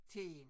Til én